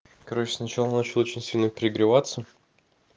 короче сначала начал очень сильно перегреваться